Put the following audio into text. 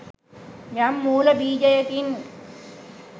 යම් මූල බීජයකින්